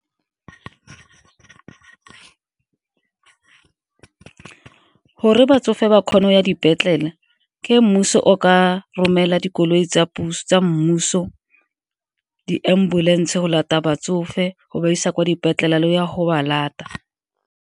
Gore batsofe ba kgona go ya dipetlele ke mmuso o ka romela dikoloi tsa mmuso, di-ambulance go lata batsofe go ba isa kwa dipetlele le go ya go ba lata.